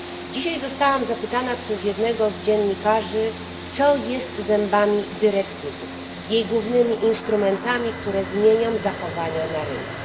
Dzisiaj zostałam zapytana przez jednego z dziennikarzy, co jest zębami dyrektywy, jej głównymi instrumentami, które zmienią zachowania na rynku.